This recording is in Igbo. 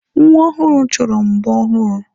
Nwa ọhụrụ chọrọ mbo ọhụrụ.